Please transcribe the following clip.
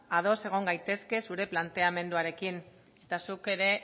ados egon gaitezke zure planteamenduarekin eta zuk ere